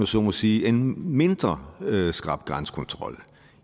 så må sige en mindre skrap grænsekontrol